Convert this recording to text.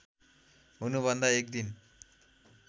हुनुभन्दा एक दिन